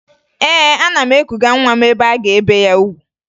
Ee, ana m ekuga nwa m ebe a ga-ebe ya ugwu